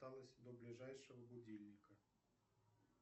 осталось до ближайшего будильника